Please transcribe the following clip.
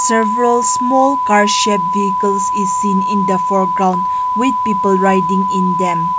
several small car shape vehicles is seen in the foreground with people riding in them.